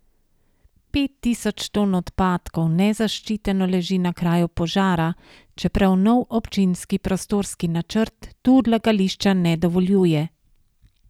Pet tisoč ton odpadkov nezaščiteno leži na kraju požara, čeprav nov občinski prostorski načrt tu odlagališča ne dovoljuje.